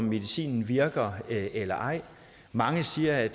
medicinen virker eller ej mange siger at